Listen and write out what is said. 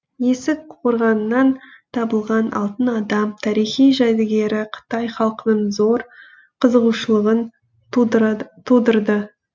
есік қорғанынан табылған алтын адам тарихи жәдігері қытай халқының зор қызығушылығын тудырды